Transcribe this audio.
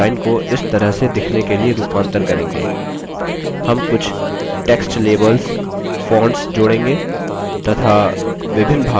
हम कुछ text labels fonts जोड़ेंगे तथा विभिन्न भागों के स्पेस की formatting और समायोजन करेंगे